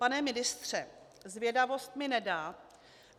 Pane ministře, zvědavost mi nedá.